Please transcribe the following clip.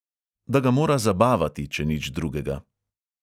Da ga mora zabavati, če nič drugega.